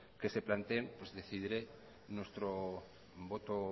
que se planteen pues decidiré nuestro voto